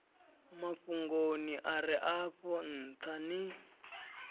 mafhungoni are afho ntha ni